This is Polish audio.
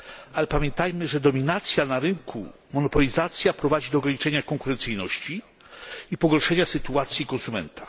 ale pamiętajmy, że dominacja na rynku, monopolizacja prowadzi do ograniczenia konkurencyjności i pogorszenia sytuacji konsumenta.